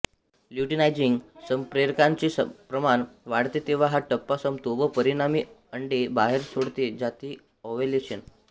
luteinising संप्रेरकांचे प्रमाण वाढते तेव्हा हा टप्पा संपतो व परिणामी अंडे बाहेर सोडले जाते ओव्ह्यूलेशन